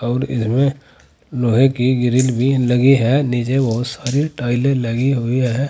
और इसमें लोहे की ग्रिल भी लगी है नीचे बहुत सारे टाइलें लगी हुई है।